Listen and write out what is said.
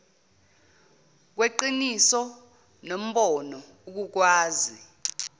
kweqiniso nombono ukukwazi